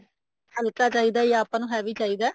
ਹਲਕਾ ਚਾਹੀਦਾ ਜਾਂ ਆਪਾਂ ਨੂੰ heavy ਚਾਹੀਦਾ